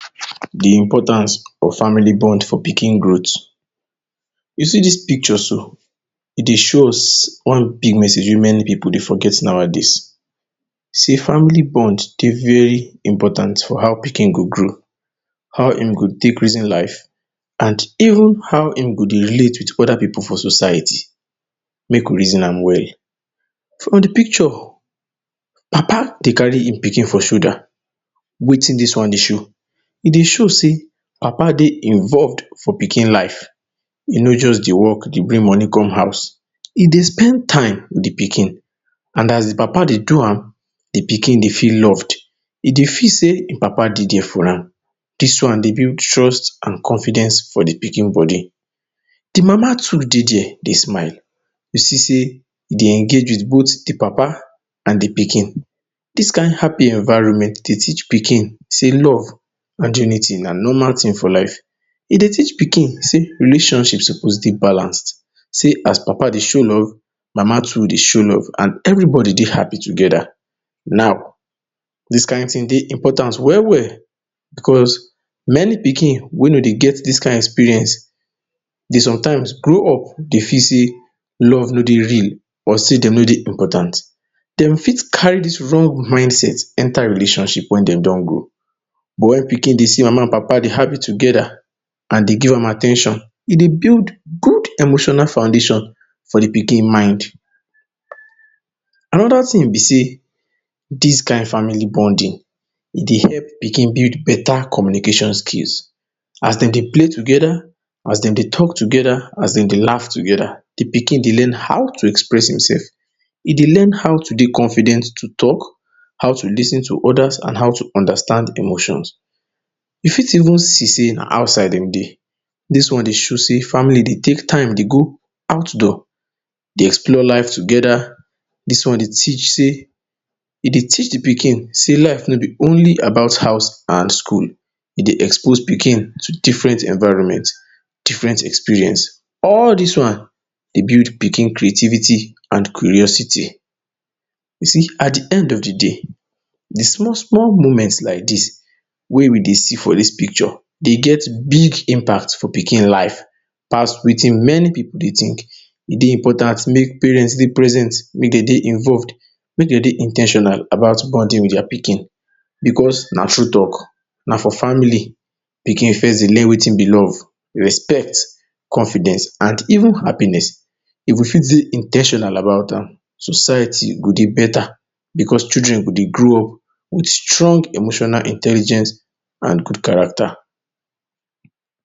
You see dis picture so? E dey show us one big message wey many pipu dey forget nowadays. Say family bond dey very important for how pikin go grow. How e go take reason life and even how e go dey relate with other pipu for society. Make we reason am well. For de picture, Papa dey carry e pikin for shoulder. Wetin dis one dey show? E dey show say Papa dey involved for pikin life. E no just dey work dey bring moni come house. E dey spend time with de pikin and as de Papa dey do am, de pikin dey feel loved. E dey feel say e Papa dey for am. Dis one dey build trust and confidence for de pikin body. De Mama too dey there dey smile. You see say e dey engage with both de Papa and de pikin. Dis kin happy environment dey teach pikin say love and unity na normal tin for life. E dey teach pikin say relationship suppose dey balanced. Say as Papa dey show love, Mama too dey show love. And everybody dey happy together. Now, dis kin tin dey important well well because many pikin wey no dey get dis kin experience dey sometimes grow up dey feel say love no dey real or say dem no dey important. Dem fit carry dis wrong mindset enter relationship when dem don grow up. When pikin dey see Mama and Papa dey happy together and dem give am at ten tion, e dey build good emotional foundation for de pikin mind. Another tin be say, dis kin family bonding e dey help pikin build beta communication skills. As dem dey play together, as dem dey talk together, as dem dey laugh together, de pikin dey learn how to express himself. E dey learn how to dey confident to talk, how to lis ten to others and how to understand emotions. You fit even see say na outside dem dey. Dis one dey show say de family dey take time dey go outdoor, dey explore life together. Dis one dey teach de pikin say life no be only about house and school. E dey expose pikin to different environment. Different experience. All dis one dey build pikin creativity and curiosity. You see, at de end of de day, de small small moment like dis wey we dey see for dis picture dey get big impact for pikin life pass wetin many pipu dey think. E dey important make parent dey present, make dem dey involved, make dem dey in ten tional about bonding with dem pikin. Because na true talk — na for family pikin first dey learn wetin be love, respect, confidence and even happiness. If we go fit dey in ten tional about am, society go dey beta because children go dey grow up with strong emotional intelligence and good character.